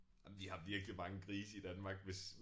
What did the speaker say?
Ej men vi har virkelig mange grise i Danmark hvis